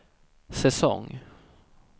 säsong